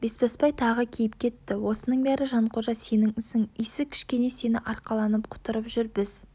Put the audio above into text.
бесбасбай тағы киіп кетті осының бәрі жанқожа сенің ісің исі кішкене сені арқаланып құтырып жүр біз